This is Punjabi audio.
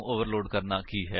ਇੱਥੇ ਅਸੀ ਵਰਤੋ ਕਰ ਰਹੇ ਹਾਂ